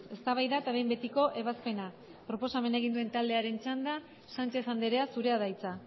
eztabaida eta behin betiko ebazpena proposamena egin duen taldearen txanda sánchez andrea zurea da hitza